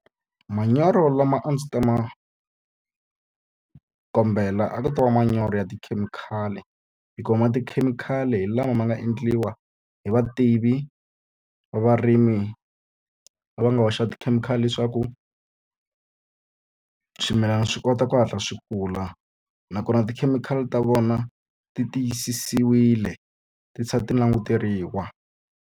Manyoro lama a ndzi ta ma kombela a ku ta va manyoro ya tikhemikhali. Hikuva ya tikhemikhali hi lama nga endliwa hi vativi va varimi lava va nga hoxa tikhemikhali leswaku swimilana swi kota ku hatla swi kula. Nakona tikhemikhali ta vona ti tiyisisiwile ti languteriwa.